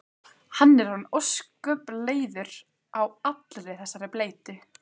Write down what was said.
Hann er orðinn ósköp leiður á allri þessari bleytu.